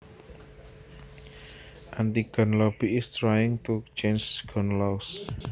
anti gun lobby is trying to change gun laws